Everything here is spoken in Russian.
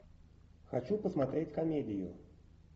хочу посмотреть комедию